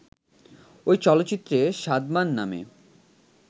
ওই চলচ্চিত্রে সাদমান নামে